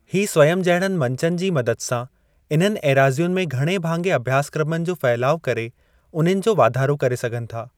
ही 'स्वयम्' जहिड़नि मंचनि जे मदद सां इन्हनि एराज़ियुनि में घणे भाङे अभ्यासक्रमनि जो फहिलाव करे, उन्हनि जो वाधारो करे सघनि था।